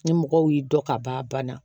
Ni mɔgɔw y'i dɔn ka ban bana